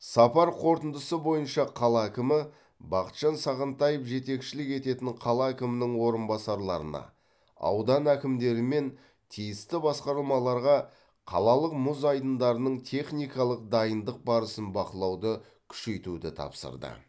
сапар қорытындысы бойынша қала әкімі бақытжан сағынтаев жетекшілік ететін қала әкімінің орынбасарларына аудан әкімдері мен тиісті басқармаларға қалалық мұз айдындарының техникалық дайындық барысын бақылауды күшейтуді тапсырды